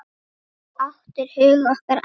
Þú áttir hug okkar allra.